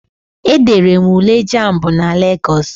E dere m Ule jamb na Lagos.